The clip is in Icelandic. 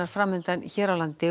fram undan hér á landi